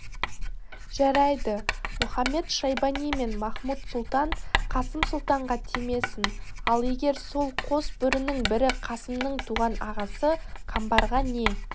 жарайды мұхамед-шайбани мен махмуд-сұлтан қасым сұлтанға тимесін ал егер сол қос бөрінің бірі қасымның туған ағасы қамбарға не